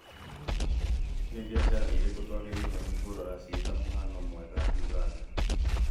Nĩ biacara irĩku twagĩrĩirwo nĩ kũrora ciĩ ta mũhiano mwega Uganda?